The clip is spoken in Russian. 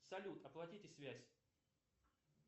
салют оплатите связь